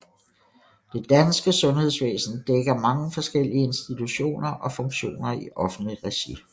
Det danske sundhedsvæsen dækker mange forskellige institutioner og funktioner i offentligt regi